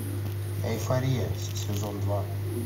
эйфория сезон два